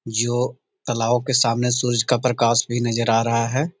जो तालाबों के सामने सूरज का प्रकाश भी नज़र आ रहा है।